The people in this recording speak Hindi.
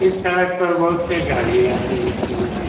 इस सड़क पर बहुत सी गाड़ी आती-जाती है ।